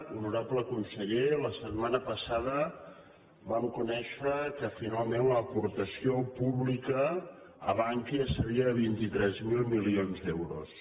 honorable conseller la setmana passada vam conèixer que finalment l’aportació pública a bankia seria de vint tres mil milions d’euros